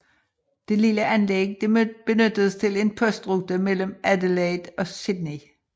Det lille anlæg benyttedes til en postrute mellem Adelaide og Sydney